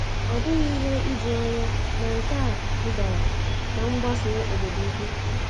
Ọ bụghị ihe ijuanya na nke a dugara ná mgbasa obodo ukwu.